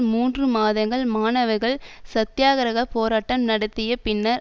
மூன்று மாதங்கள் மாணவர்கள் சத்தியாக்கிரக போராட்டம் நடத்திய பின்னர்